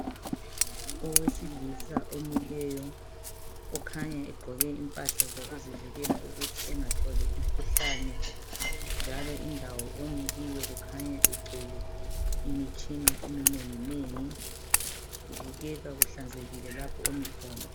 Owesilisa omileyo ukhanya egqoke impahla zokuzivikela ukuthi engatholi imikhuhlane njalo indawo omi kiyo kukhanya kugcwele imitshina eminenginengi kubukeka kuhlanzekile lapho omikhona